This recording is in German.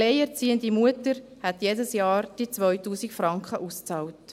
Der alleinerziehenden Mutter würden die 2000 Franken jedes Jahr ausbezahlt.